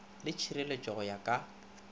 le tšhireletšo go ya ka